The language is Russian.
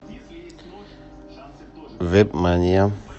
вебмания